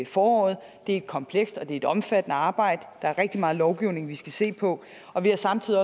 foråret det er et komplekst og et omfattende arbejde der er rigtig meget lovgivning vi skal se på og vi har samtidig